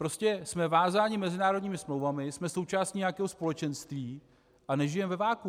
Prostě jsme vázáni mezinárodními smlouvami, jsme součástí nějakého společenství a nežijeme ve vakuu.